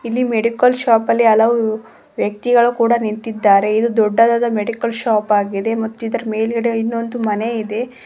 ಇಲ್ಲಿ medical shop ಅಲ್ಲಿ ಹಲವು ವ್ಯಕ್ತಿಗಳು ಕೂಡ ನಿಂತಿದ್ದಾರೆ ಇದು ದೊಡ್ಡದಾದ ಮೆಡಿಕಲ್ ಶಾಪ್ ಆಗಿದೆ ಮತ್ತು ಇದರ ಮೇಲ್ಗಡೆ ಇನ್ನೊಂದು ಮನೆ ಇದೆ.